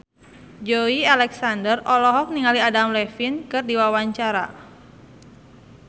Joey Alexander olohok ningali Adam Levine keur diwawancara